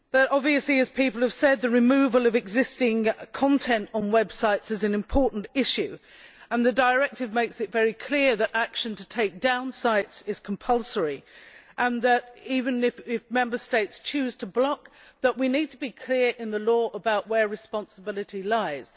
Obviously, as people have said, the removal of existing content on websites is an important issue, and the directive makes it very clear that action to take down sites is compulsory and that, even if Member States choose to block, we need to be clear in the law about where responsibility lies.